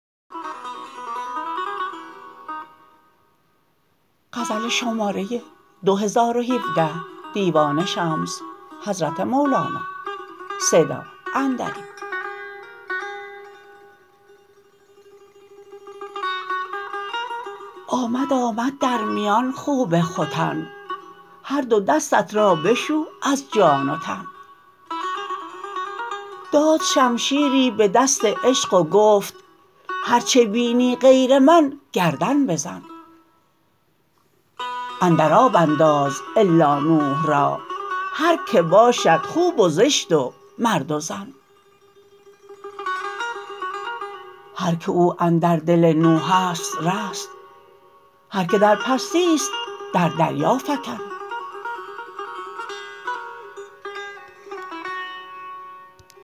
آمد آمد در میان خوب ختن هر دو دستت را بشو از جان و تن داد شمشیری به دست عشق و گفت هرچ بینی غیر من گردن بزن اندر آب انداز الا نوح را هر که باشد خوب و زشت و مرد و زن هر که او اندر دل نوح است رست هر که در پستی است در دریا فکن